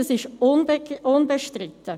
Dies ist unbestritten.